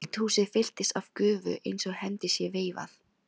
Eldhúsið fyllist af gufu einsog hendi sé veifað.